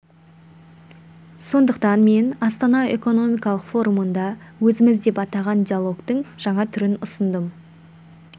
сондықтан мен астана экономикалық форумында өзіміз деп атаған диалогтың жаңа түрін ұсындым